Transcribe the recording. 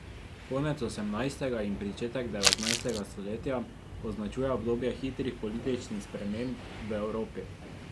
Konec osemnajstega in pričetek devetnajstega stoletja označuje obdobje hitrih političnih sprememb v Evropi.